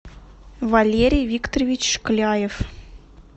валерий викторович шкляев